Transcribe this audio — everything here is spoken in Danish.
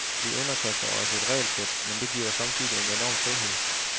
Vi underkaster os et regelsæt, men det giver samtidig en enorm frihed.